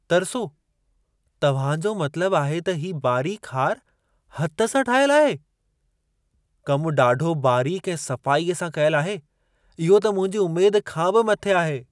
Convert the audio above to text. तरिसो, तव्हां जो मतिलबु आहे त हीउ बारीक़ हार हथ सां ठाहियल आहे? कम ॾाढो बारीक़ु ऐं सफ़ाई सां कयलु आहे। इहो त मुंहिंजी उमेद खां बि मथे आहे!